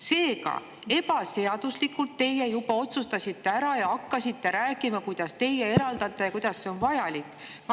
" Seega, ebaseaduslikult teie juba otsustasite ära ja hakkasite rääkima, kuidas teie eraldate ja kuidas see on vajalik.